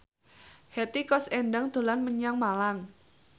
Hetty Koes Endang dolan menyang Malang